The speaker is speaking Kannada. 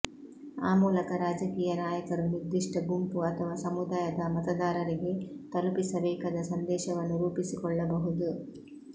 ಆ ಮೂಲಕ ರಾಜಕೀಯ ನಾಯಕರು ನಿರ್ದಿಷ್ಟ ಗುಂಪು ಅಥವಾ ಸಮುದಾಯದ ಮತದಾರರಿಗೆ ತಲುಪಿಸಬೇಕಾದ ಸಂದೇಶವನ್ನು ರೂಪಿಸಿಕೊಳ್ಳಬಹುದು